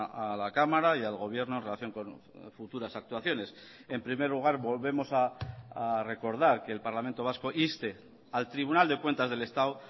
a la cámara y al gobierno en relación con futuras actuaciones en primer lugar volvemos a recordar que el parlamento vasco inste al tribunal de cuentas del estado